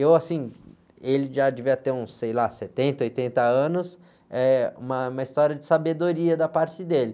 Eu, assim, ele já devia ter uns, sei lá, setenta, oitenta anos, eh, uma, uma história de sabedoria da parte dele.